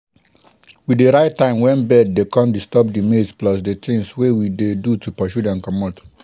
we dey write time when bird dey come disturb di maize plus di things wey we do to pursue dem comot.